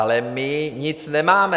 Ale my nic nemáme.